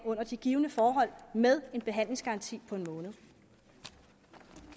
under de givne forhold med en behandlingsgaranti på